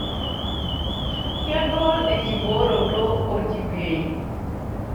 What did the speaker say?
Kegol enkibooroto olkipei.